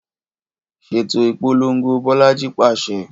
Ṣeto ipolongo Bolaji paṣẹ